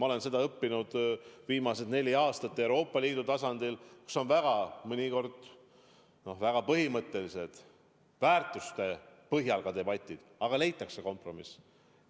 Ma olen seda õppinud viimased neli aastat ka Euroopa Liidu tasandil, kus on mõnikord väga põhimõttelised debatid väärtuste pinnal, aga ikka leitakse kompromiss.